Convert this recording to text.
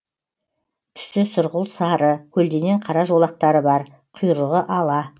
түсі сұрғылт сары көлденең қара жолақтары бар құйрығы ала